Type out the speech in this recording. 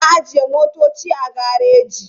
Muna ajiye motoci a gareji.